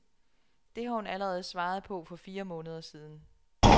Det har hun allerede svaret på for fire måneder siden.